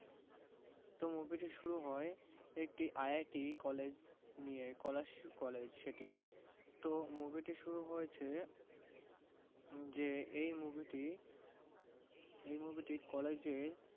তো movie টি শুরু হয় একটি IITcollege নিয়ে, college সেটি। তো movie টি শুরু হয়েছে যে এই movie টি এই moviecollege এর